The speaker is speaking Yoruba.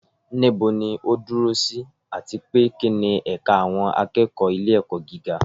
Níbo ni ó dúró sí, àti pé kí ni ẹ̀ka àwọn akẹ́kọ̀ọ́ ilé-ẹ̀kọ́ gíga?